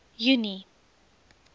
junie